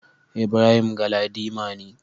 Ibrahim Galadima ne.